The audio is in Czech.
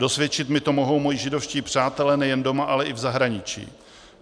Dosvědčit mi to mohou moji židovští přátelé nejen doma, ale i v zahraničí.